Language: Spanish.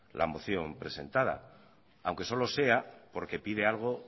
la moción presentada aunque solo sea porque pide algo